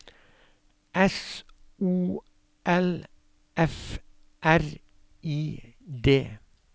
S O L F R I D